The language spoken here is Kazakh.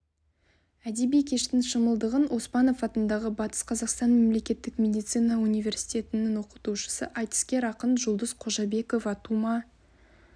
әдеби кештің шымылдығын оспанов атындағы батыс қазақстан мемлекеттік медицина университетінің оқытушысы айтыскер ақын жұлдыз қожабекова тума